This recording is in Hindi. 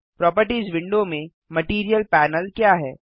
प्रोपर्टीज़ विंडो में मटीरियल पैनल क्या है